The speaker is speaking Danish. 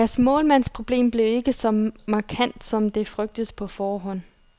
Deres målmandsproblem blev ikke så markant, som det frygtedes på forhånd.